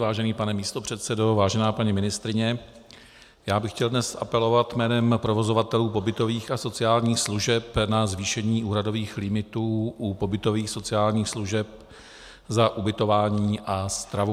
Vážený pane místopředsedo, vážená paní ministryně, já bych chtěl dnes apelovat jménem provozovatelů pobytových a sociálních služeb na zvýšení úhradových limitů u pobytových sociálních služeb za ubytování a stravu.